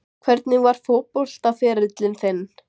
Hvernig var fótboltaferillinn þinn?